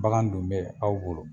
Bagan dun be aw bolo.